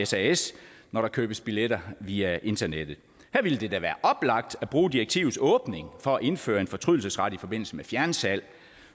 sas når der købes billetter via internettet her ville det da være oplagt at bruge direktivets åbning for at indføre en fortrydelsesret i forbindelse med fjernsalg